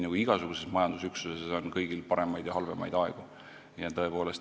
Kõigis majandusüksustes on paremaid ja halvemaid aegu.